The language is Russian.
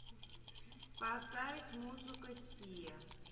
поставить музыку сиа